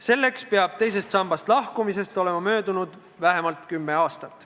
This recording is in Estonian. Selleks peab teisest sambast lahkumisest olema möödunud vähemalt kümme aastat.